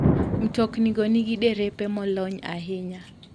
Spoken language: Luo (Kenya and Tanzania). Mtoknigo nigi derepe molony ahinya.